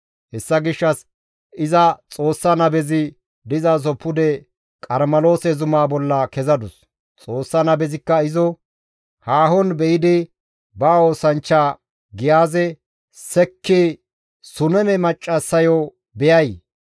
Hessa gishshas iza Xoossa nabezi dizaso pude Qarmeloose zumaa bolla kezadus. Xoossa nabezikka izo haahon be7idi ba oosanchcha Giyaaze, «Sekki Suneme maccassayo beyay!